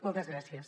moltes gràcies